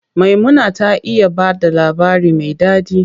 Maimuna ta iya bada labari me ɗaɗi.